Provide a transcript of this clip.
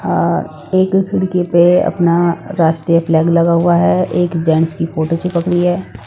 अ एक खिड़की पे अपना राष्ट्रीय फ्लैग लगा हुआ हैं एक जेंट्स की फोटो चिपक रही हैं ।